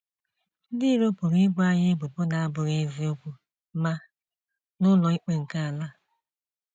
Ndị iro pụrụ ibo anyị ebubo na abụghị eziokwu, ma n'ụlọ ikpe nkea ala